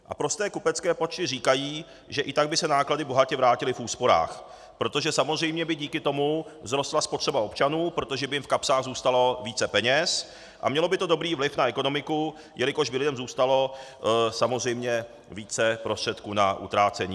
A prosté kupecké počty říkají, že i tak by se náklady bohatě vrátily v úsporách, protože samozřejmě by díky tomu vzrostla spotřeba občanů, protože by jim v kapsách zůstalo více peněz a mělo by to dobrý vliv na ekonomiku, jelikož by lidem zůstalo samozřejmě více prostředků na utrácení.